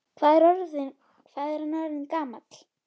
Hvað er hann orðinn gamall?